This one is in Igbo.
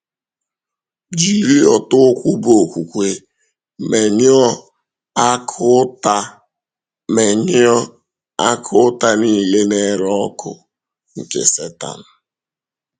Jiri ọ̀tá ukwu bụ́ okwúkwè menyụọ “akụ́ ụtá menyụọ “akụ́ ụtá niile na-ere ọkụ” nke Sẹ́tán.